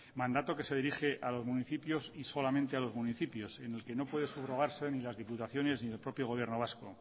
mandato que se dirige al municipio y solamente a los municipios en el que no puede subrogarse ni las diputaciones ni el propio gobierno vasco